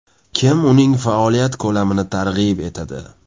Kim uning faoliyat ko‘lamini targ‘ib etadi?